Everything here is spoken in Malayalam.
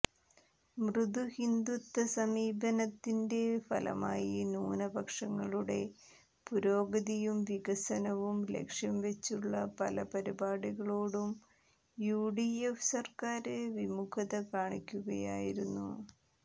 മൃദുഹിന്ദുത്വ സമീപനത്തിന്റെ ഫലമായി ന്യൂനപക്ഷങ്ങളുടെ പുരോഗതിയും വികസനവും ലക്ഷ്യംവെച്ചുളള പല പരിപാടികളോടും യു ഡി എഫ് സര്ക്കാര് വിമുഖത കാണിക്കുകയായിരുന്നു